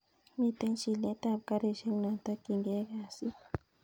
Miten chilet ab garishek notokyinige kasit